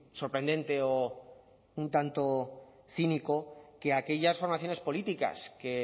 sorprendente o un tanto cínico que aquellas formaciones políticas que